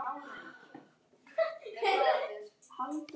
Svo reif hann sig úr fötunum, Stefáni til furðu.